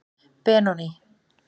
Benóný